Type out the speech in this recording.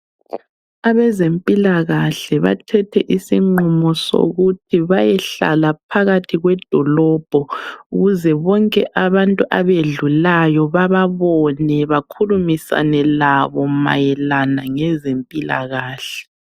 Abezempilakahle bathethe isinqumo sokuthi bayehlala phakathi kwedolobho ukuze bonke abantu abedlulayo bababone bakhulumisane labo mayelana ngezempilakahle.